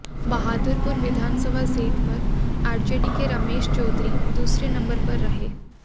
बहादुरपुर विधानसभा सीट पर आरजेडी के रमेश चौधरी दूसरे नंबर पर रहे